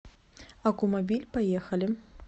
аккумобиль поехали